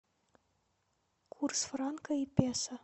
курс франка и песо